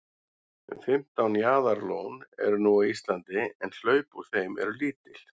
um fimmtán jaðarlón eru nú á íslandi en hlaup úr þeim eru lítil